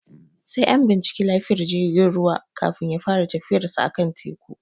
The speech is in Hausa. Sai an binciki lafiyar jigin ruwa, kafin ya fara tafiyarsa a kan teku.